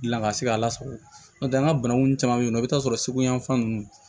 Gilan ka se k'a lasago n'o tɛ an ka bananku caman bɛ yen nɔ i bɛ t'a sɔrɔ segu yanfan ninnu